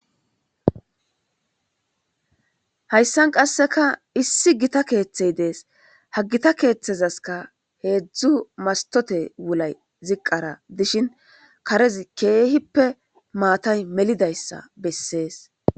Hayssan qasseka issi gita keeththey dees ha gita keeththezaska heedzdzu mastote wulay ziqqara dishin karez keehippe maatay melidayssa bessees.